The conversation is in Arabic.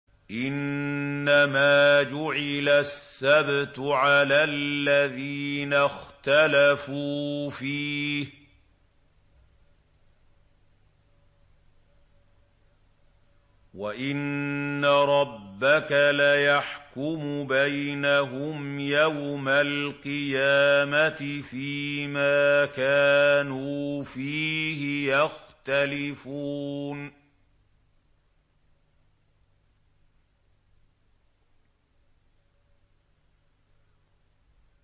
إِنَّمَا جُعِلَ السَّبْتُ عَلَى الَّذِينَ اخْتَلَفُوا فِيهِ ۚ وَإِنَّ رَبَّكَ لَيَحْكُمُ بَيْنَهُمْ يَوْمَ الْقِيَامَةِ فِيمَا كَانُوا فِيهِ يَخْتَلِفُونَ